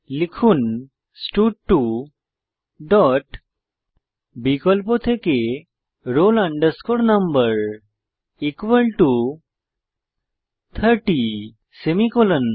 লিখুন স্টাড2 ডট বিকল্প থেকে roll no 30 সেমিকোলন